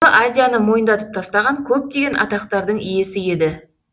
себебі азияны мойындатып тастаған көптеген атақтардың иесі еді